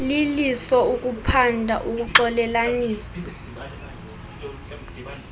liliso ukuphanda ukuxolelanisa